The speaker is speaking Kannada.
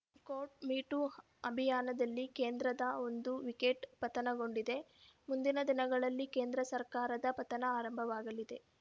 ಕೋಟ್‌ ಮೀ ಟೂ ಅಭಿಯಾನದಲ್ಲಿ ಕೇಂದ್ರದ ಒಂದು ವಿಕೆಟ್‌ ಪತನಗೊಂಡಿದೆ ಮುಂದಿನ ದಿನಗಳಲ್ಲಿ ಕೇಂದ್ರ ಸರ್ಕಾರದ ಪತನ ಆರಂಭವಾಗಲಿದೆ